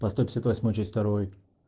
по сто пятьдесят восьмой часть второй